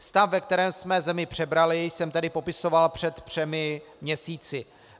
Stav, ve kterém jsme zemi přebrali, jsem tedy popisoval před třemi měsíci.